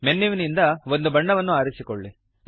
ಮೆನ್ಯುವಿನಿಂದ ಒಂದು ಬಣ್ಣವನ್ನು ಆರಿಸಿಕೊಳ್ಳಿ